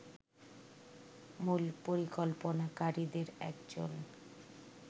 মূল পরিকল্পনাকারীদের একজন